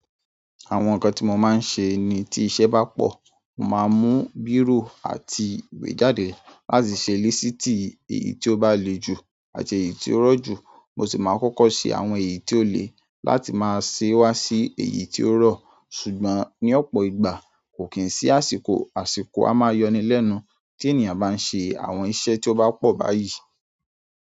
Àwọn ǹkan tí mo máa ń ṣe ni tí iṣẹ́ bá pọ̀, mo máa mú bírò àti ìwé jáde láti ṣe lisìtì èyí tí ó bá le ju àti èyí tí ó rọ̀ jù. Mo sì máa kọ́kọ́ ṣe àwọn èyí tí ó le láti máa ṣe wá sí èyí tí ó rọ̀. Ṣùgbọ́n ní ọ̀pọ̀ ìgbà, kò kí n sí àsìkò. Àsìkò a máa yọni lẹ́nu tí ènìyàn bá ń ṣe àwọn iṣẹ́ tí ó bá pọ̀ báyìí.